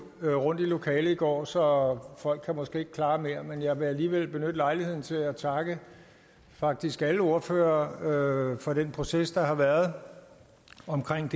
jo rundt i lokalet i går så folk kan måske ikke klare mere men jeg vil alligevel benytte lejligheden til at takke faktisk alle ordførere for den proces der har været